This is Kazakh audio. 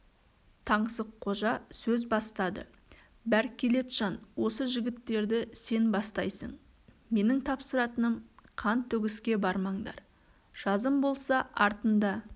таңсыққожа сөз бастады бәркелетжан осы жігіттерді сен бастайсың менің тапсыратыным қан төгіске бармаңдар жазым болса артында